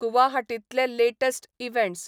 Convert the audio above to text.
गुवाहाटिंतले latest events